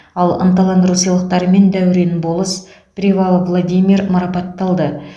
ал ынталандыру сыйлықтарымен дәурен болыс привалов владимир марапатталды